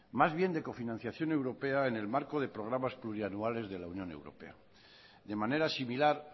más bien de cofinanciación europea en el marco de programas plurianuales de la unión europea de manera similar